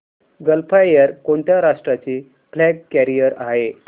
gulf Air कोणत्या राष्ट्राची flag carrier आहे